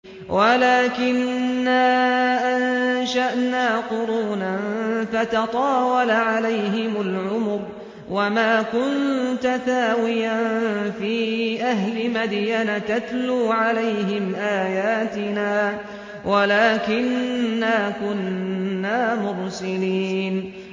وَلَٰكِنَّا أَنشَأْنَا قُرُونًا فَتَطَاوَلَ عَلَيْهِمُ الْعُمُرُ ۚ وَمَا كُنتَ ثَاوِيًا فِي أَهْلِ مَدْيَنَ تَتْلُو عَلَيْهِمْ آيَاتِنَا وَلَٰكِنَّا كُنَّا مُرْسِلِينَ